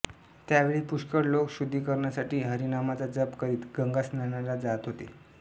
त्यावेळी पुष्कळ लोक शुद्धीकरणासाठी हरिनामचा जप करीत गंगा स्नानाला जात होते